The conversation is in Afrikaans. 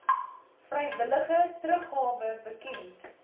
vrywillige teruggawe bekend